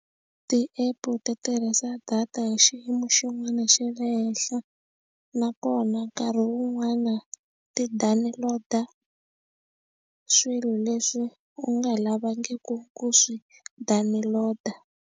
Ti-app ti tirhisa data hi xiyimo xin'wana xa le henhla nakona nkarhi wun'wani ti download-a swilo leswi u nga lavanga ku ku swi download-a.